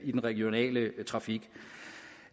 i den regionale trafik